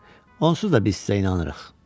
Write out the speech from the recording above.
Onsuz da biz sizə inanırıq.